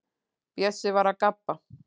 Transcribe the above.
Bjössi var að gabba.